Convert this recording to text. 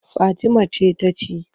Fatima ce ta ci.